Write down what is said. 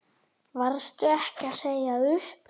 Varstu ekki að segja upp?